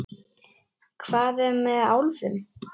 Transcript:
Hvað er með álfum?